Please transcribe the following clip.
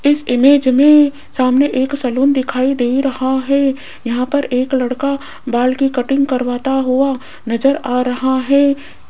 इस इमेज में सामने एक सैलून दिखाई दे रहा है यहां पर एक लड़का बाल की कटिंग करवाता हुआ नजर आ रहा है।